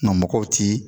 Nka mɔgɔw ti